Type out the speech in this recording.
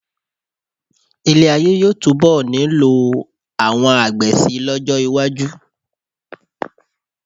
Ilé-ayé yóò túnbọ̀ nílò àwọn àgbẹ̀ síi lọ́jọ́ iwájú.